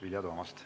Vilja Toomast.